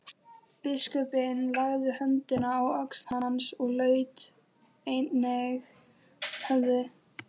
Biskupinn lagði höndina á öxl hans og laut einnig höfði.